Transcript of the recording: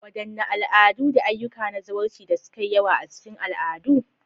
Wadanne al'adu da ayyuka na zawarci da suka yi yawa a cikin al'adu?